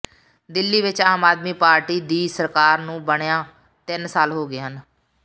ਦਿੱਲੀ ਵਿਚ ਆਮ ਆਦਮੀ ਪਾਰਟੀ ਦੀ ਸਰਕਾਰ ਨੂੰ ਬਣਿਆਂ ਤਿੰਨ ਸਾਲ ਹੋ ਗਏ ਹਨ